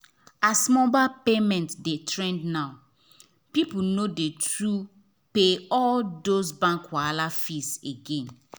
as mobile payment dey trend now people no too dey pay all those bank wahala fees again.